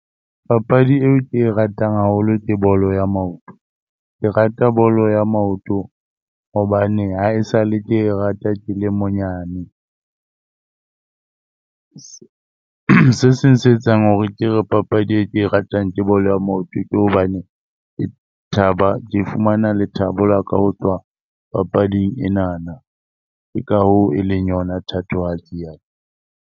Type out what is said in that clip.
Papadi eo ke e ratang haholo ke bolo ya maoto. Ke rata bolo ya maoto hobane haesale ke e rata ke le monyane. Se seng se etsang hore ke re papadi e ke e ratang ke bolo ya maoto, ke hobane ke thaba, ke fumana lethabo la ka ho tloha papading enana. Ke ka hoo e leng yona thatohatsi ya ka.